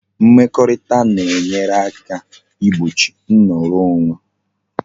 Mmekorita na e nyere aka igbochi nnoro onwe